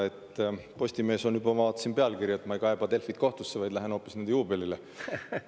Vaatasin, et Postimehes on juba pealkiri, et ma ei kaeba Delfit kohtusse, vaid lähen hoopis nende juubelile.